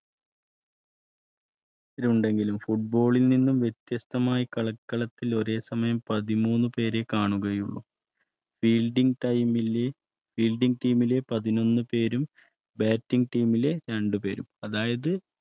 രണ്ടുപേരും ഉണ്ടെങ്കിലും Football ൽ നിന്നും വ്യത്യസ്തമായ കളിക്കളത്തിൽ ഒരേ സമയംപതിമൂന്നുപേരെ കാണുകയുള്ളു. field ടൈമിലെ Field, Team ലെപതിനൊന്ന്പേരും Bat ഗ്ടീമിലെ രണ്ടുപേരും